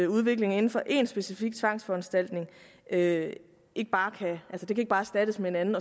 udviklingen inden for én specifik tvangsforanstaltning ikke ikke bare kan erstattes med en anden